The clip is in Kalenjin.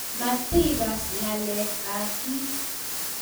Matikas ngalek ab piik